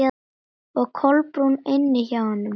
Og Kolbrún inni hjá honum.